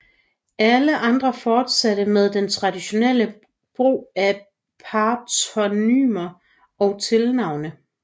Alle andre fortsatte med den traditionelle brug af patronymer og tilnavne